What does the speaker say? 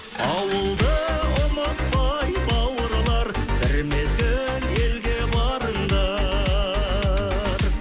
ауылды ұмытпай бауырлар бір мезгіл елге барыңдар